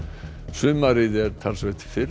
sumarið er talsvert fyrr